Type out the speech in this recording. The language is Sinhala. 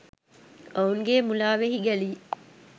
ඔවුන්ගේ මුලාවෙහි ගැලී